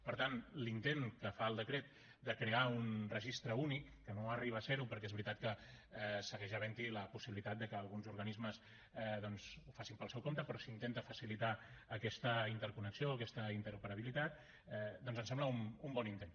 per tant l’intent que fa el decret de crear un registre únic que no arriba a ser ho perquè és veritat que segueix havent hi la possibilitat de que alguns organismes ho facin pel seu compte però s’intenta facilitar aquesta interconnexió aquesta interoperabilitat doncs ens sembla un bon intent